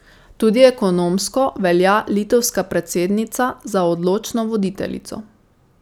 Tudi ekonomsko velja litovska predsednica za odločno voditeljico.